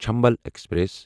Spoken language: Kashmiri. چنبل ایکسپریس